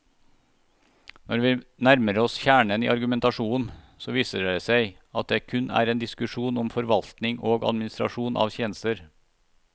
Når vi nærmer oss kjernen i argumentasjonen, så viser det seg at det kun er en diskusjon om forvaltning og administrasjon av tjenester.